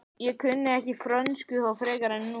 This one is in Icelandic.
Ég kunni ekki frönsku þá frekar en nú.